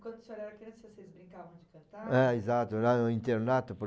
Quando o senhor era criança, vocês brincavam de cantar? É, exato, lá no internato por